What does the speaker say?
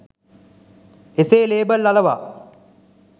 එසේ ‍ලේබල් අලවා